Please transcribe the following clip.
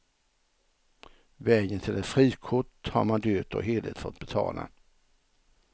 Vägen till ett frikort har man dyrt och heligt fått betala.